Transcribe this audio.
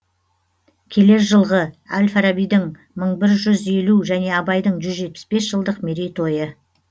келер жылғы әл фарабидің мың бір жүз елу және абайдың жүз жетпіс бес жылдық мерейтойы